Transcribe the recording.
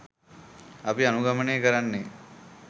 අපි අනුගමනය කරන්නෙ